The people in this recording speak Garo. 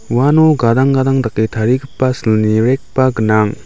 uano gadang gadang dake tarigipa silni rack-ba gnang.